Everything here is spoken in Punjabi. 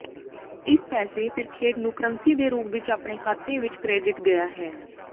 ਇਸ ਪੈਸੇ ਫਿਰ ਖੇਡ ਨੂੰ ਕਰੰਸੀ ਦੇ ਰੂਪ ਵਿਚ ਆਪਣੇ ਖਾਤੇ ਵਿੱਚ ਕਰੈਡਿਟ ਗਿਆ ਹੈ